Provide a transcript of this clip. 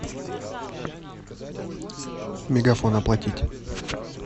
мегафон оплатить